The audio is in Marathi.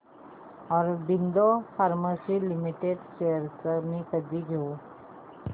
ऑरबिंदो फार्मा लिमिटेड शेअर्स मी कधी घेऊ